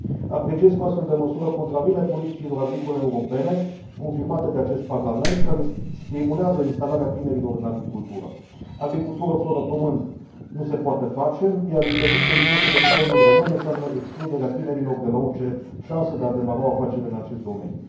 Apreciez că o astfel de măsură contravine politicilor agricole europene, confirmate de acest Parlament, care stimulează instalarea tinerilor în agricultură. Agricultură fără pământ nu se poate face, iar interdicția impusă de Guvernul român înseamnă excluderea tinerilor de la orice șansă de a demara o afacere în acest domeniu.